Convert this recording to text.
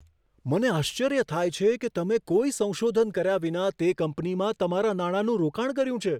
મને આશ્ચર્ય થાય છે કે તમે કોઈ સંશોધન કર્યા વિના તે કંપનીમાં તમારા નાણાંનું રોકાણ કર્યું છે.